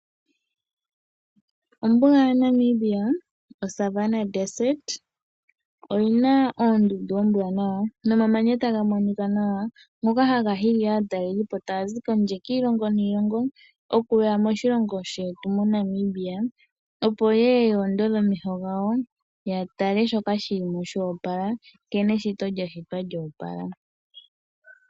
Ombuga yaNamibia, oSavanna Desert, oyi na oondundu oombwanawa, nomamanya taga monika nawa ngoka haga hili aatalelipo taa zi kondje, kiilongo niilongo okuya moshilongo shetu moNamibia opo ye ye yoondodhe omeho gawo ya tale shoka shi li mo shoopala, nkene eshito lya shitwa lyoopala.